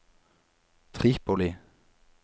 Tripoli